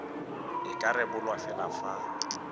e ka rebolwa fela fa